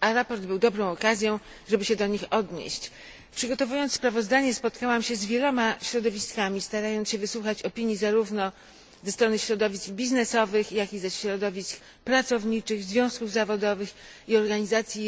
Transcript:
a sprawozdanie było dobrą okazją, żeby się do nich odnieść. Przygotowując sprawozdanie spotkałam się z wieloma środowiskami, starając się wysłuchać opinii zarówno środowisk biznesowych jak i środowisk pracowniczych, związków zawodowych i organizacji